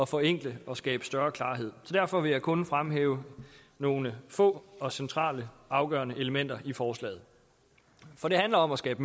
forenkle og skabe større klarhed derfor vil jeg kun fremhæve nogle få og centrale afgørende elementer i forslaget for det handler om at skabe